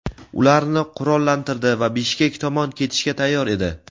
ularni qurollantirdi va Bishkek tomon ketishga tayyor edi.